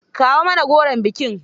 Kawo mana goron bikin.